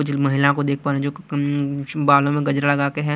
जिस महिला को देख पा रहे जो कि एम्म बालों में गजरा लगके हैं।